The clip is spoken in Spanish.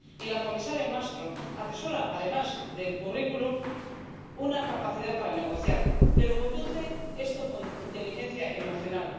Y la comisaria Malmström atesora, además del currículum, una capacidad para negociar, pero conduce esto con inteligencia emocional.